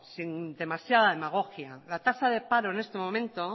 sin demasiada demagogia la tasa de paro en este momento